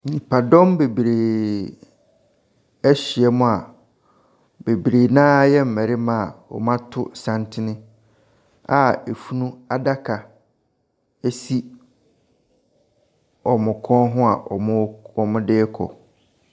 Nnipadɔm bebree ahyia mu a bebree no ara yɛ mmarima a wɔato santene a afunu adaka si wɔn kɔn ho a wɔde ɛrekɔ.